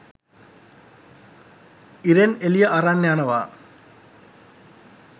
ඉරෙන් එළිය අරන් යනවා